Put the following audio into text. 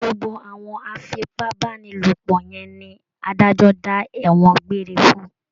Gbogbo àwọn afipábánilòpọ̀ yẹn ni adájọ́ dá ẹ̀wọ̀n gbére fún